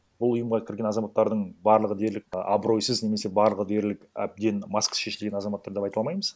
бұд ұйымға кірген азаматтардың барлығы дерлік а абыройсыз немесе барлығы дерлік әбден маскасы шешілген азаматтар деп айта алмаймыз